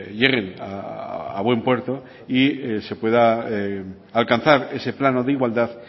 lleguen a buen puerto y se pueda alcanzar ese plano de igualdad